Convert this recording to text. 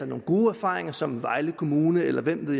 nogle gode erfaringer som vejle kommune eller hvem det